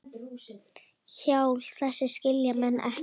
Hjal þess skilja menn ekki.